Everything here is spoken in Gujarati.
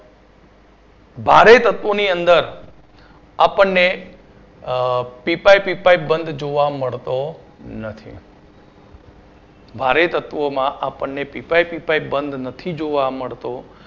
ભારે તત્વો ની અંદર આપણને પી પાઇ પી પાઇ બંધ જોવા મળતો નથી ભારે તત્વો માં આપણને પી પાઇ પી પાઇ બંધ નથી જોવા મળતો